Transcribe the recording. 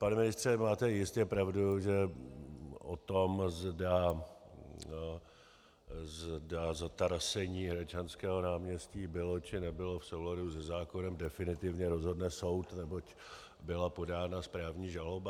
Pane ministře, máte jistě pravdu, že o tom, zda zatarasení Hradčanského náměstí bylo, či nebylo v souladu se zákonem, definitivně rozhodne soud, neboť byla podána správní žaloba.